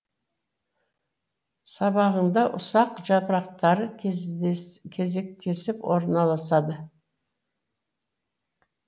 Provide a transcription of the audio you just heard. сабағында ұсақ жапырақтары кезектесіп орналасады